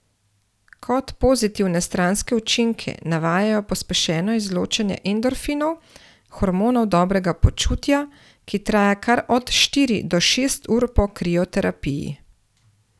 Kot pozitivne stranske učinke navajajo pospešeno izločanje endorfinov, hormonov dobrega počutja, ki traja kar od štiri do šest ur po krioterapiji.